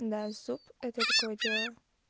да суп это такое дело